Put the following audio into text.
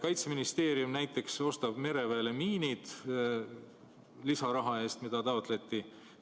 Kaitseministeerium näiteks ostab mereväele lisaraha eest, mida taotleti, miinid.